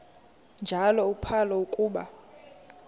njalo uphalo akuba